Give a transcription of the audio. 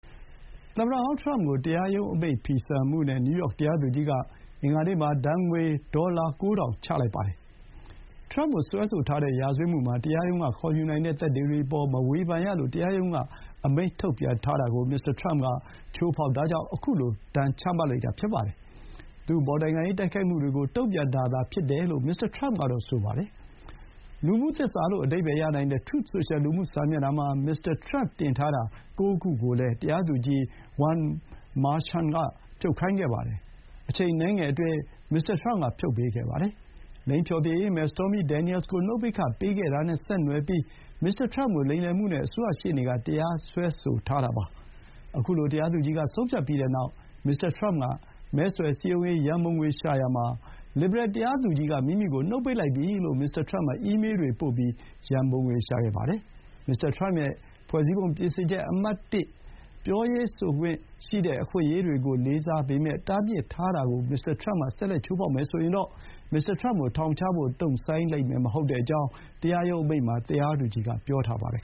သမ္မတဟောင်းထရမ့်ကို တရားရုံးအမိန့်ဖီဆန်မှုနဲ့ နယူးယောက်တရားသူကြီးက အင်္ဂါနေ့မှာ ဒဏ်ငွေ ၉,၀၀၀ ဒဏ်ချလိုက်ပါတယ်။ ထရမ့်ကိုစွဲဆိုထားတဲ့ ရာဇဝတ်မှုမှာ 'တရားရုံးကခေါ်ယူနိုင်တဲ့သက်သေတွေအပေါ် မဝေဖန်ရ' လို့ တရားရုံးက အမိန့်ထုတ်ပြန်ထားတာကို မစ္စတာထရမ့်က ချိုးဖောက်တာကြောင့် ခုလို ဒဏ်ချမှတ်လိုက်တာ ဖြစ်ပါတယ်။ သူ့အပေါ်နိုင်ငံရေးတိုက်ခိုက်မှုတွေကို တုံ့ပြန်တာသာဖြစ်တယ်လို့ မစ္စတာထရမ့်ကတော့ ဆိုပါတယ်။ လူမှုသစ္စာလို့ အဓိပ္ပါယ်ရနိုင်တဲ့ Truth Social လူမှုစာမျက်နှာမှာ မစ္စတာထရမ့်တင်ထားတာ ၉ ခုကိုလည်း တရားသူကြီး Juan Merchan က ဖြုတ်ခိုင်းခဲ့ပါတယ်။ အချိန်အနည်းငယ်အတွင်း မစ္စတာထရမ့်က ဖြုတ်ပေးခဲ့ပါတယ်။ လိင်ဖျော်ဖြေရေးမယ် Stormy Danielsကို နှုတ်ပိတ်ခပေးခဲ့တာနဲ့ဆက်နွယ်ပြီး မစ္စတာထရမ့်ကိုလိမ်လည်မှုနဲ့ အစိုးရရှေ့နေက တရားစွဲဆိုထားတာပါ။ ခုလို တရားသူကြီးက ဆုံးဖြတ်ပြီးတဲ့နောက် မစ္စတာထရမ့်က မဲဆွယ်စည်းရုံးရေး ရံပုံငွေရှာရာမှာ လစ်ဘရယ်တရားသူကြီးက မိမိကိုနှုတ်ပိတ်လိုက်ပြီလို့ မစ္စတာ ထရမ့်က အီးမေးတွေပို့ပြီး ရံပုံငွေ ရှာပါတယ်။ မစ္စတာထရမ့်ရဲ့ ဖွဲ့စည်းပုံပြင်ဆင်ချက် အမှတ်၁ အခွင့်အရေးတွေကိုလေးစားပေမဲ့ တားမြစ်ထားတာကို မစ္စတာထရမ့်က ဆက်လက်ချိုးဖောက်မယ်ဆိုရင် မစ္စတာထရမ့်ကိုထောင်ချဖို့ တုံ့ဆိုင်းလိမ့်မယ်မဟုတ်ကြောင်း တရားရုံးအမိန့်မှာ တရားသူကြီးကဆိုထားပါတယ်